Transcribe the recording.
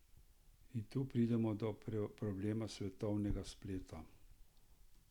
In tu pridemo do problema svetovnega spleta.